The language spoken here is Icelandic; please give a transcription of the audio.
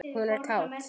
Hún er kát.